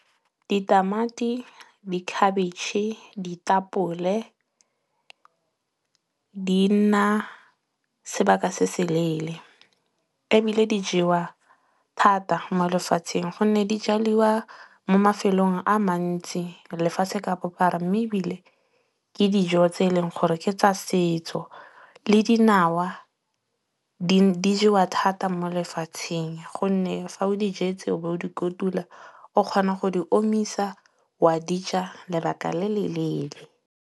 Ditamati, dikhabetšhe, ditapole di nna sebaka se se leele. Ebile di jewa thata mo lefatsheng gonne di jaliwa mo mafelong a mantsi lefase ka bophara mme ebile, ke dijo tse e leng gore ke tsa setso. Le dinawa di jewa thata mo lefatsheng gonne fa o di jetse o bo o di kotula, o kgona go di omisa wa dija lebaka le le leele.